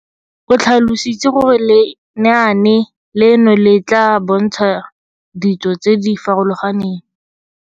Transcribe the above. O tlhalositse gore lenaane leno le tla bontsha ditso tse di farologaneng.